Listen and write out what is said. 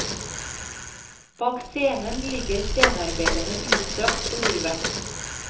Bak scenen ligger scenearbeiderne utstrakt på gulvet.